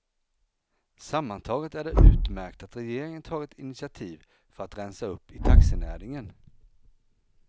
Sammantaget är det utmärkt att regeringen tagit initiativ för att rensa upp i taxinäringen.